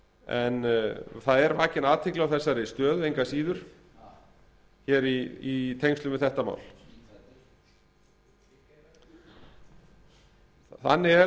en það er vakin athygli á þessari stöðu engu að síður hér í tengslum við þetta mál þannig er